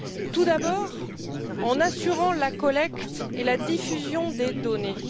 Tout d'abord, en assurant la collecte et la diffusion des données.